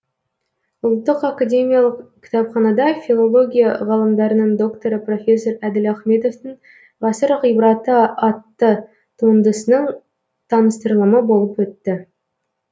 ұлттық академиялық кітапханада филология ғылымдарының докторы профессор әділ ахметовтің ғасыр ғибраты атты туындысының таныстырылымы болып өтті